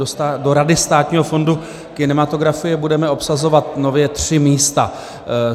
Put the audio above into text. Do Rady Státního fondu kinematografie budeme obsazovat nově tři místa.